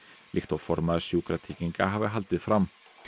líkt og formaður Sjúkratrygginga hafi haldið fram